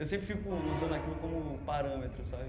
Eu sempre fico usando aquilo como parâmetro, sabe?